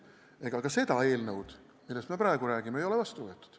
Ega ka seda eelnõu, millest me praegu räägime, ei ole vastu võetud.